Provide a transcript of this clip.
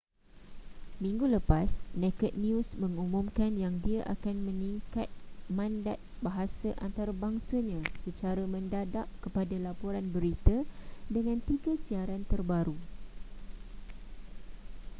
minggu lepas naked news mengumumkan yang ia akan meningkat mandat bahasa antarabangsanya secra mendadak kepada laporan berita dengan tiga siaran terbaru